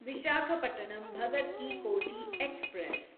Visakhapatnam Bhagat ki Kothi express